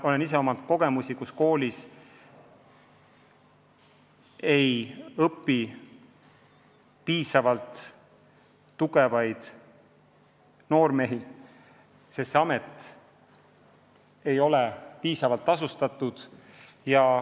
Olen ise kogenud, et selles koolis ei õpi küllalt tugevaid noormehi, sest see amet ei ole piisavalt tasustatud.